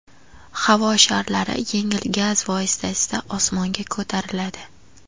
Havo sharlari yengil gaz vositasida osmonga ko‘tariladi.